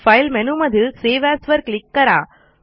file मेनूमधील save as वर click करा